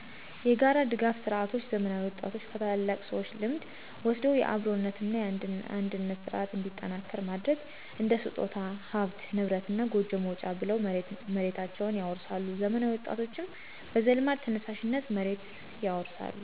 የጋራ ድጋፍ ስርዓቶች ዘመናዊ ወጣቶች ከታላላቅ ሰዎች ልምድ ወስደው የአብሮነት እና አንድነት ስርዓት እንዲጠናከር ማድረግ። እንደ ስጦታ፣ ሀብት ንብረት እና ጎጆ መውጫ ብለው መሬታቸውን ያወርሳሉ ዘመናዊ ወጣቶችም በዘልማድ ተነሳሽነት መሬትን ይወርሳሉ።